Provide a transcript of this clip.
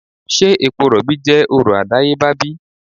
se epo robi je oro adayeba bi?